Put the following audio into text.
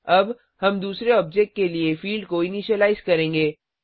अब हम दूसरे ऑब्जेक्ट के लिए फिल्ड को इनीशिलाइज करेंगे